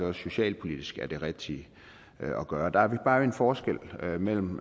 også socialpolitisk er det rigtige at gøre og der er der bare en forskel mellem